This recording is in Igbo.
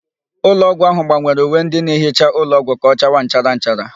Ụlọọgwụ ahụ gbanwere uwe ndị na-ehicha ụlọọgwụ ka ọchawa nchara nchara.